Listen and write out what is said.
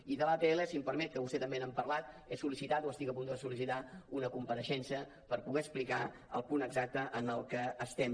i de l’atll si m’ho permet que vostès també n’han parlat he sol·licitat o estic a punt de sol·licitar una compareixença per poder explicar el punt exacte en què estem